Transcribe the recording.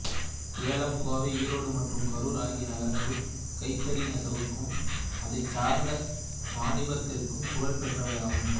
சேலம் கோவை ஈரோடு மற்றும் கரூர் ஆகிய நகரங்கள் கைத்தறி நெசவுக்கும் அதைச்சார்ந்த வாணிபத்திற்கும் புகழ் பெற்றவையாகும்